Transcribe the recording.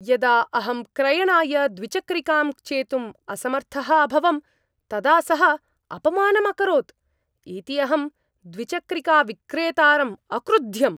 यदा अहं क्रयणाय द्विचक्रिकां चेतुम् असमर्थः अभवं तदा सः अपमानम् अकरोत् इति अहं द्विचक्रिकाविक्रेतारम् अक्रुध्यम्।